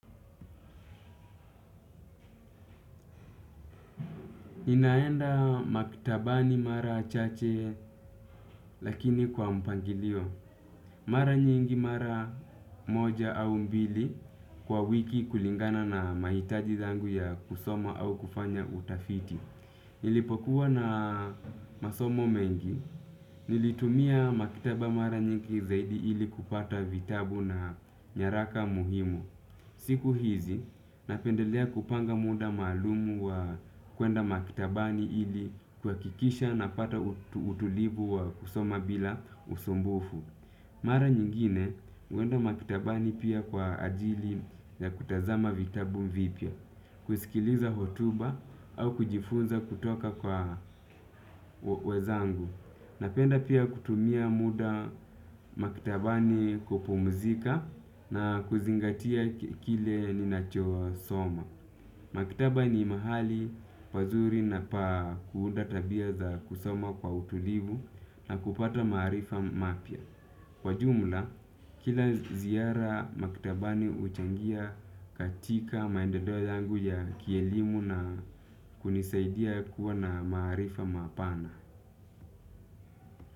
Ninaenda maktabani mara chache lakini kwa mpangilio. Mara nyingi mara moja au mbili kwa wiki kulingana na mahitaji zangu ya kusoma au kufanya utafiti. Nilipokuwa na masomo mengi, nilitumia maktaba mara nyingi zaidi ili kupata vitabu na nyaraka muhimu. Siku hizi, napendelea kupanga muda maalumu wa kwenda maktabani ili kuhakikisha napata utulivu wa kusoma bila usumbufu. Mara nyingine huenda maktabani pia kwa ajili ya kutazama vitabu vipya, kusikiliza hotuba au kujifunza kutoka kwa wenzangu. Napenda pia kutumia muda maktabani kupumzika na kuzingatia kile ninacho soma. Maktaba ni mahali pazuri na pa kuunda tabia za kusoma kwa utulivu na kupata marifa mapya. Kwa jumla, kila ziara maktabani huchangia katika maendeleo yangu ya kielimu na kunisaidia kuwa na maarifa mapana.